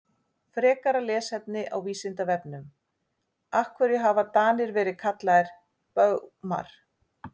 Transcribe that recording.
Frekara lesefni á Vísindavefnum Af hverju hafa Danir verið kallaðir Baunar?